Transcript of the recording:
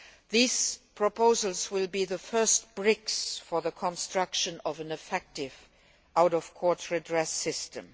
These proposals will be the first bricks for the construction of an effective out of court redress system.